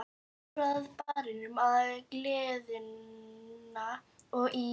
Ég fór á Barinn, á Galeiðuna og í